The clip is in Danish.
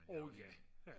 åh ja ja